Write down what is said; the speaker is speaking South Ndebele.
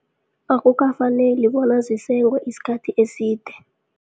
Akukafaneli bona zisengwe isikhathi eside.